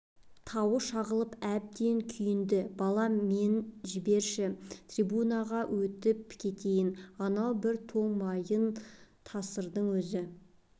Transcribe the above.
тауы шағылып әбден күйінді балам мен жіберші трибунаға өтіп кетейін анау бір тоң мойын тасырдың өзі